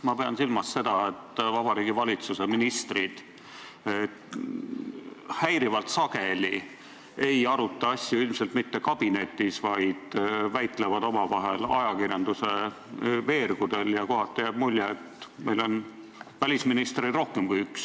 Ma pean silmas seda, et Vabariigi Valitsuse ministrid häirivalt sageli ei aruta asju ilmselt mitte kabinetis, vaid väitlevad omavahel ajakirjanduse veergudel ja kohati jääb mulje, et meil on välisministreid rohkem kui üks.